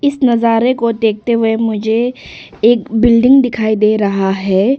इस नज़ारे को देखते हुए मुझे एक बिल्डिंग दिखाई दे रहा है।